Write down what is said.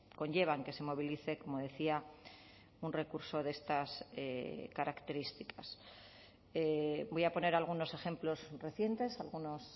conllevan que se movilice como decía un recurso de estas características voy a poner algunos ejemplos recientes algunos